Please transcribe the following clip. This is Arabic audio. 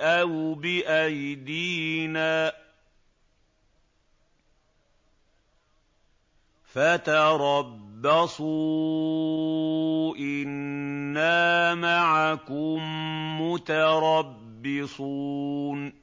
أَوْ بِأَيْدِينَا ۖ فَتَرَبَّصُوا إِنَّا مَعَكُم مُّتَرَبِّصُونَ